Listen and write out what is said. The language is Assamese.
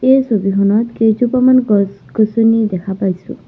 এই ছবিখনত কেইজোপামান গছ গছনি দেখা পাইছোঁ।